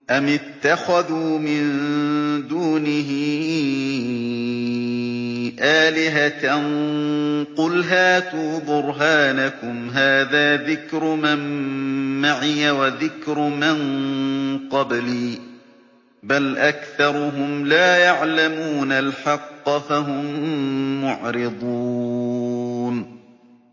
أَمِ اتَّخَذُوا مِن دُونِهِ آلِهَةً ۖ قُلْ هَاتُوا بُرْهَانَكُمْ ۖ هَٰذَا ذِكْرُ مَن مَّعِيَ وَذِكْرُ مَن قَبْلِي ۗ بَلْ أَكْثَرُهُمْ لَا يَعْلَمُونَ الْحَقَّ ۖ فَهُم مُّعْرِضُونَ